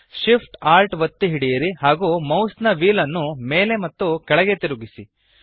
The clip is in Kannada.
Shift Alt ಒತ್ತಿ ಹಿಡಿಯಿರಿ ಹಾಗೂ ಮೌಸ್ನ ವ್ಹೀಲ್ ನ್ನು ಮೇಲೆ ಮತ್ತು ಕೆಳಗೆ ತಿರುಗಿಸಿ